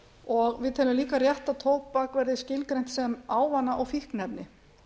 og við teljum líka rétt að tóbak verði skilgreint sem ávana og fíkniefni